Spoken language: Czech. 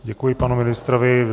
Děkuji panu ministrovi.